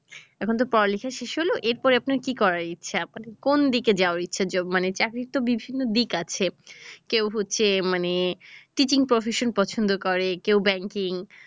এখন তো পড়ালেখা শেষ হলো এরপরে আপনার কি করার ইচ্ছে? কোন দিকে যাওয়ার ইচ্ছে মানে চাকরির তো বিভিন্ন দিক আছে, কেউ হচ্ছে মানে teaching profession পছন্দ করে কেউ banking